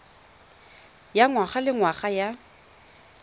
ya ngwaga le ngwaga ya